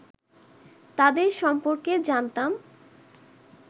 তাঁদের সম্পর্কে জানতাম